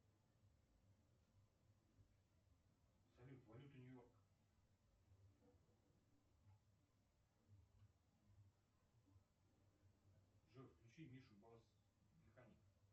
салют валюта нью йорка джой включи мишу басс механик